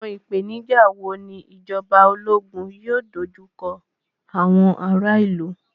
Àwọn ìpèníjà wo ni ìjọba ológun yóò dojú kọ àwọn ará ìlú?